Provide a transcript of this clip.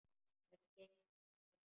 Hvernig gengur að selja?